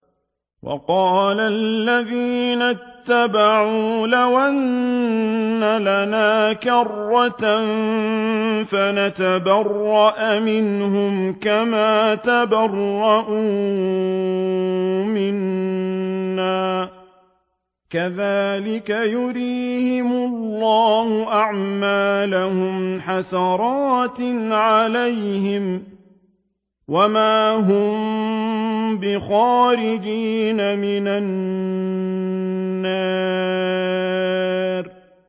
وَقَالَ الَّذِينَ اتَّبَعُوا لَوْ أَنَّ لَنَا كَرَّةً فَنَتَبَرَّأَ مِنْهُمْ كَمَا تَبَرَّءُوا مِنَّا ۗ كَذَٰلِكَ يُرِيهِمُ اللَّهُ أَعْمَالَهُمْ حَسَرَاتٍ عَلَيْهِمْ ۖ وَمَا هُم بِخَارِجِينَ مِنَ النَّارِ